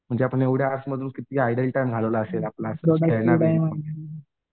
म्हणजे आपण एवढे मधून किती झालेलं असेन हे आहे ना